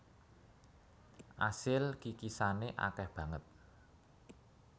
Asil kikisane akeh banget